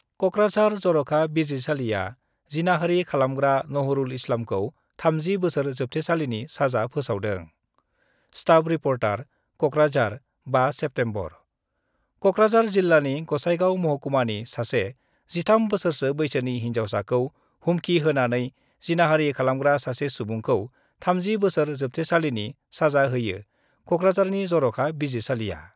कक्राझार जर'खा बिजिरसालिआ जिनाहारि खालामग्रा नहरुल इस्लामखौ 30 बोसोर जोबथेसालिनि साजा फोसावदों staff reporter, Kokrajhar, 5 September Kokrajhar जिल्लानि गसाइगाव महकुमानि सासे 13 बोसोरसो बैसोनि हिन्जावसाखौ हुमखिहोनानै जिनाहारि खालामग्रा सासे सुबुंखौ 30 बोसोर जोबथेसालिनि साजा होयो कक्राझारनि जर'खा बिजिरसालिआ।